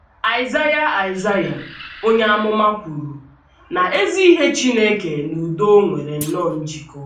Aịzaịa Aịzaịa onye amụma kwuru na izi ihe Chineke na udo nwere nnọọ njikọ.